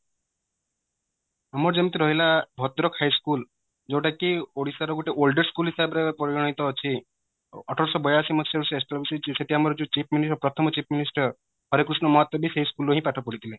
ଆମର ଯେମିତି ରହିଲା ଭଦ୍ରକ high school ଯୋଉଟା କି ଓଡିଶା ର ଗୋଟେ oldest school ଭାବରେ ପରିଗଣିତ ଅଛି ଅଠରଶହ ବୟାଅଶି ମସିହା ରୁ establish ହେଇଚି ସେଠି ଆମର ଯାଉ chief minister ପ୍ରଥମ chief minister ହରେକୃଷ୍ଣ ମହତାବ ବି ସେଇ school ରେ ହିଁ ପାଠ ପଢିଥିଲେ